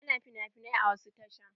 Ana finafinai a wasu tashan.